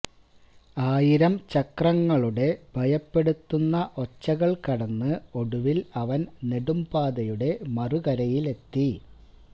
ആയിരം ചക്രങ്ങളുടെ ഭയപ്പെടുത്തുന്ന ഒച്ചകൾ കടന്ന് ഒടുവിൽ അവൻ നെടുംപാതയുടെ മറുകരയിലെത്തി